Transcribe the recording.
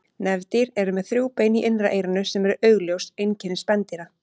Nefdýr eru með þrjú bein í innra eyranu sem eru augljós einkenni spendýra.